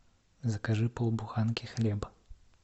закажи полбуханки хлеба